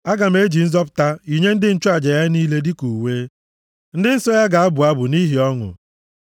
Aga m eji nzọpụta yinye ndị nchụaja ya niile dịka uwe, ndị nsọ ya ga-abụ abụ nʼihi ọṅụ.